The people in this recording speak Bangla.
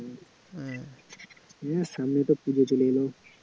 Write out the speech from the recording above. হম এ সামনে তো পুজো চলে এল